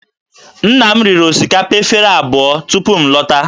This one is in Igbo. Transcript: Nna m riri osikapa efere abụọ tupu m lọta